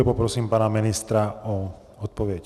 A poprosím pana ministra o odpověď.